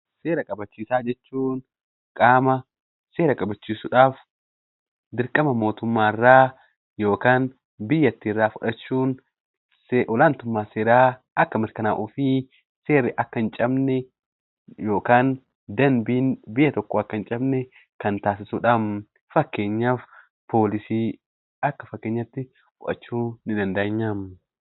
Seera kabachiisaa jechuun qaama seera kabachiisuudhaaf dirqama mootummaa irraa yookaan biyyattii irraa fudhachuun olaantummaan seeraa akka mirkanaa'uu fi seerri akka hin cabne yookaan dambiin biyya tokkoo akka hin cabne kan taasisudha. Fakkeenyaaf poolisii akka fakkeenyaatti fudhachuu ni dandeenya.